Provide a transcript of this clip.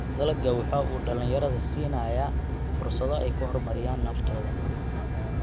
Dalaggu waxa uu dhalinyarada siinayaa fursado ay ku horumariyaan naftooda.